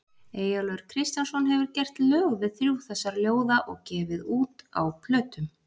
Eyjólfur Kristjánsson hefur gert lög við þrjú þessara ljóða og gefið út á plötum.